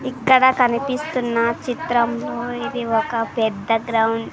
ఇక్కడ కనిపిస్తున్న చిత్రంలో ఇది ఒక పెద్ద గ్రౌండ్ --